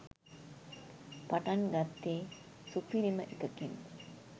පටන් ගත්තෙ සුපිරිමඑකකින්.